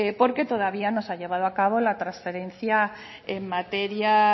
porque todavía no se ha llevado a cabo la transferencia en materia